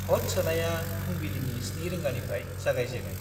भ'ट सोनाया फुंबिलिनि 7 रिंगानिफ्राय जागायजेनो।